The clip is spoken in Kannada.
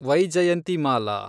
ವೈಜಯಂತಿಮಾಲಾ